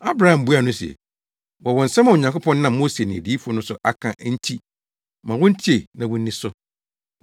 “Abraham buaa no se, ‘Wɔwɔ nsɛm a Onyankopɔn nam Mose ne adiyifo no so aka enti ma wontie na wonni so.’